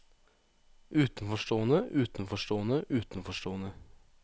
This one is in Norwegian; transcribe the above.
utenforstående utenforstående utenforstående